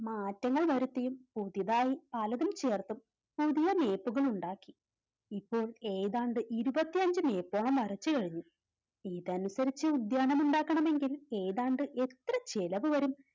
മാറ്റങ്ങൾ വരുത്തിയും പുതുതായി പലതും ചേർത്തും പുതിയ Map കൾ ഉണ്ടാക്കി ഇപ്പോൾ ഏതാണ്ട് ഇരുപത്തിയഞ്ച് Meter ഓളം വരച്ചു കഴിഞ്ഞു ഇതനുസരിച്ച് ഉദ്യാനം ഉണ്ടാക്കണമെങ്കിൽ ഏതാണ്ട് എത്ര ചിലവുവരും